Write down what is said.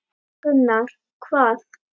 Gunnar: Hvað?